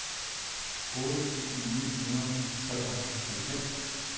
otte tusind ni hundrede og treoghalvfems